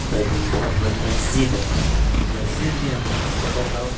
एक बहोत बड़ी मस्जिद है उस मस्जिद मे अंदर बहोत सारे लोग--